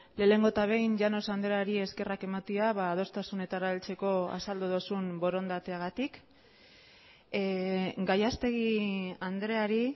lehenengo eta behin llanos andreari eskerrak ematea adostasunetara heltzeko azaldu duzun borondateagatik gallastegui andreari